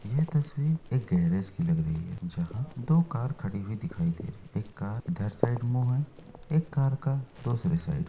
यह तस्वीर एक गैरेज कि लग रही है। जहाँ दो कार खड़ी हुई दिखाई दे रही है। एक कार का उधर साइड मुंह है। एक कार का दोसरे साइड --